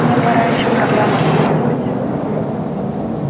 мне пора ещё программу дописывать